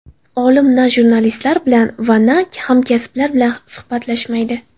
Olim na jurnalistlar bilan va na hamkasblar bilan suhbatlashmaydi.